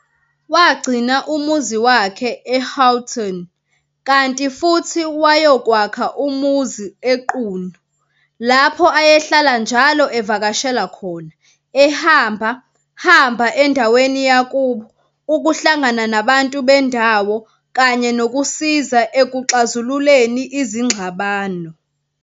Wagcina umuzi wakhe e-Houghton, kanti futhi wayokwakha umuzi eQunu, lapho ayehlala njalo evakashela khona, ehamba-hamba endaweni yakubo, ukuhlangana nabantu bendawo, kanye nokusiza ekuxazululeni izingxabano.